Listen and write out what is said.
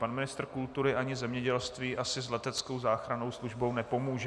Pan ministr kultury ani zemědělství asi s leteckou záchrannou službou nepomůže.